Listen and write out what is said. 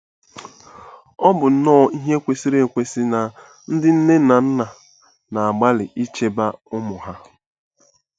Ọ bụ nnọọ ihe kwesịrị ekwesị na ndị nne na nna na-agbalị ichebe ụmụ ha.